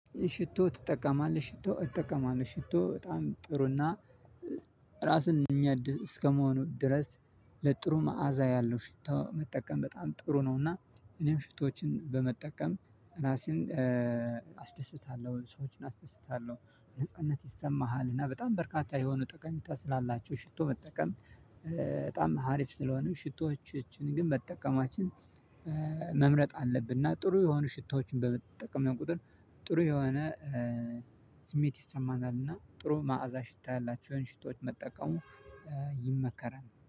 ሽቶ ትጠቀማለህ ሽቶ እጠቀማለው ሽቶ በጣም ጥሩና ራስን የሚያድስ እስከመሆኑ ድረስ ለጥሩ መዓዛ ያለው ሽቶ መጠቀም በጣም ጥሩ ነው። እና እኔም ሽቶዎችን በመጠቀም ራሴን አስደስታለሁ ሰዎችን አስደስታለሁ። ነጻነት ይሰማሃል እና በጣም በርካታ የሆኑ ጠቀሜታ ስላላቸው ሽቶ መጠቀም። በጣም ሀሪፍ ስለሆኑ ሽቶዎችን ግን መጠቀማችን መምረጥ አለብን። እና ጥሩ የሆኑ ሽቶዎችን በመጠቀም ቁጥር ጥሩ የሆነ ይሰማናልና ጥሩ መዓዛ ሽታ ያላቸውን ሽቶዎች መጠቀሙ ይመከራል